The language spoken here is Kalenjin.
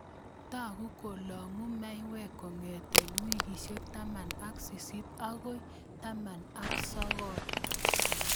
Tau kolagu mayaik kongete wikiishek taman ak sisit akoi taman ak sogol